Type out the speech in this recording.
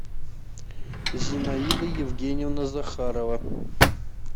зинаида евгеньевна захарова